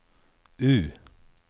U